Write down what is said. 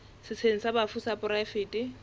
setsheng sa bafu sa poraefete